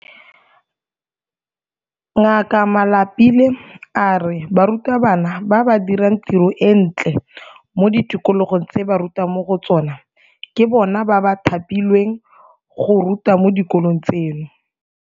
Ngaka Malapile a re barutabana ba ba dirang tiro e ntle mo di tikologong tse ba rutang mo go tsona ke bona ba thapilweng go ruta mo dikolong tseno.